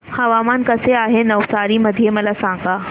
हवामान कसे आहे नवसारी मध्ये मला सांगा